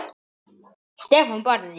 Stefán Barði.